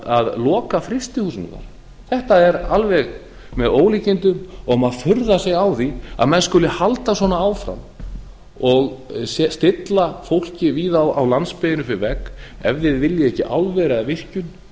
að loka frystihúsum þar þetta er alveg með ólíkindum og maður furðar sig á því að maður skuli halda svona áfram og stilla fólki víða á landsbyggðinni upp við vegg ef þið viljið ekki álver eða virkjun